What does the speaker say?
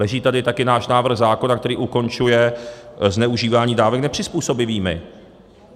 Leží tady také náš návrh zákona, který ukončuje zneužívání dávek nepřizpůsobivými.